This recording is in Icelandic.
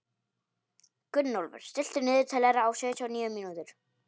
Gunnólfur, stilltu niðurteljara á sjötíu og níu mínútur.